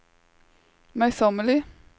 møysommelig